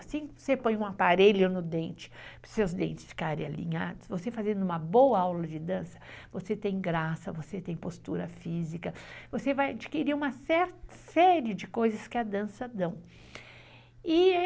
Assim que você põe um aparelho no dente, para os seus dentes ficarem alinhados, você fazendo uma boa aula de dança, você tem graça, você tem postura física, você vai adquirir uma série de coisas que a dança dão.